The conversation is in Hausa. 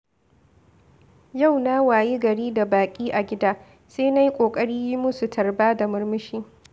Yau na wayi gari da baƙi a gida, sai na yi ƙoƙari yi musu tarba da murmushi.